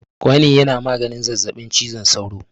Kwanin yana maganin zazabin cizon saura